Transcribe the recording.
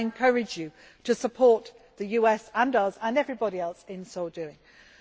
So I encourage you to support the US and us and everybody else in doing